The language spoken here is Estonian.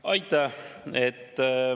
Aitäh!